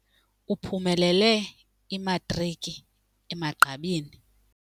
Uphumelele imatriki emagqabini.